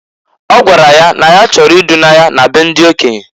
O gwara ya na ya chọrọ i duna ya na be ndị okenye.